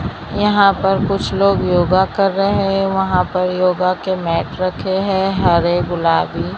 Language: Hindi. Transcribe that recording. यहां पर कुछ लोग योगा कर रहे हैं वहां पर योगा के मैट रखे हैं हरे गुलाबी।